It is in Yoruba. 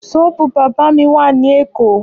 Ṣọ́ọ́bù bábà mi w ní Èkó.